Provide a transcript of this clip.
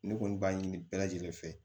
Ne kɔni b'a ɲini bɛɛ lajɛlen fɛ